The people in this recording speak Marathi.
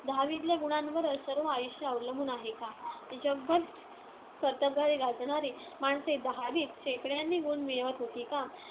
दहावीतल्या गुणांवरच सर्व आयुष्य अवलंबून आहे का? जगभर कर्तबगारी गाजवणारी माणसे दहावीत शेकड्यांनी गुण मिळवत होती का?